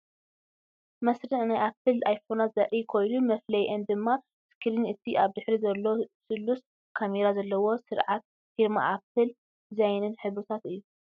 መስርዕ ናይ ኣፕል ኣይፎናት ዘርኢ ኮይኑ፡ መፍለይኣን ድማ ስክሪን እቲ ኣብ ድሕሪት ዘሎ ስሉስ ካሜራ ዘለዎ ስርዓት ፊርማ ኣፕል ዲዛይንን ሕብርታትን እዩ።